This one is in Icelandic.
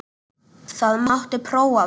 Það mátti prófa það.